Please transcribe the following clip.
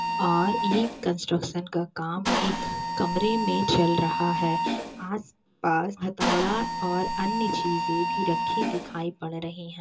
और ये कंस्ट्रक्शन का काम एक कमरे में चल रहा है आसपास हथौड़ा और अन्य चीज़े भी रखी दिखाई पड़ रही है।